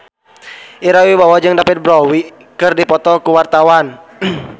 Ira Wibowo jeung David Bowie keur dipoto ku wartawan